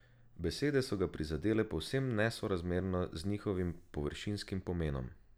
Besede so ga prizadele povsem nesorazmerno z njihovim površinskim pomenom.